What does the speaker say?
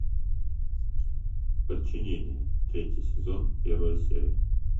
подчинение третий сезон первая серия